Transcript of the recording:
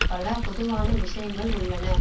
பல பொதுவான விஷயங்கள் உள்ளன